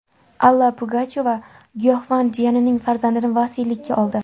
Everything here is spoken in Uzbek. Alla Pugachyova giyohvand jiyanining farzandini vasiylikka oldi.